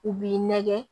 U b'i nɛgɛn